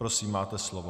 Prosím, máte slovo.